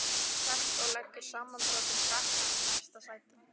Hann sest og leggur samanbrotinn frakkann í næsta sæti.